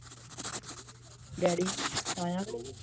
Daddy ਆਇਆ ਕੇ ਨਹੀ?